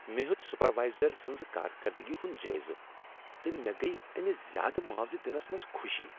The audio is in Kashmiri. مےٚ ہیوٚت سپروائزر سٕنٛز کارکردگی ہنٛد جٲیزٕ تہٕ مےٚ گٔیۍ أمس زیٛادٕ معاوضہٕ دنس منز خوشی۔